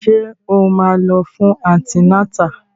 Ṣé o máa lọ fún antinátà?